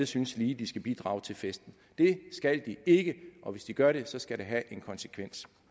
synes de skal bidrage til festen det skal de ikke og hvis de gør det skal det have en konsekvens